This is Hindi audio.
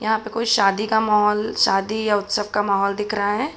यहाँ पे कोई शादी का माहौल शादी या उत्सव का माहौल दिख रहा है।